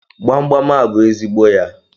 Gbamgbam a bụ ezigbo ya.